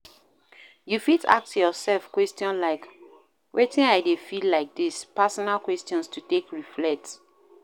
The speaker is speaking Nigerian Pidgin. You fit ask your yourself question like "Wetin I dey feel like this", personal questions to take reflect